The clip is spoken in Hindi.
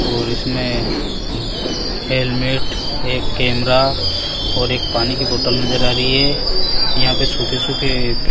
और इसमें हेलमेट एक कैमरा और एक पानी की बॉटल नज़र आ रही है यहां पे सूखे सूखे --